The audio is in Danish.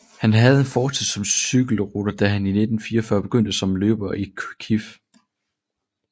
Han havde en fortid som cykelrytter da han i 1944 begyndte som løber i KIF